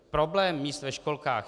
Problém míst ve školkách.